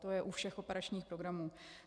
To je u všech operačních programů.